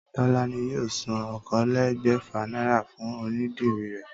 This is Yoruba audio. Tólání yóò san okòólégbèfà náírà fún onídìrí rè